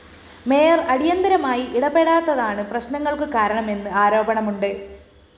mayor അടിയന്തരമായി ഇടപെടാത്തതാണു പ്രശ്‌നങ്ങള്‍ക്കു കാരണമെന്ന് ആരോപണമുണ്ട്